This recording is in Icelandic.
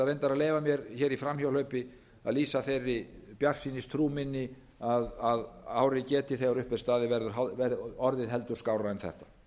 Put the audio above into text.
að leyfa mér hér í framhjáhlaupi að lýsa þeirri bjartsýnistrú minni að árið geti þegar upp er staðið orðið heldur skárra en þetta